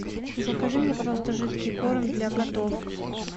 закажи мне пожалуйста жидкий корм для котов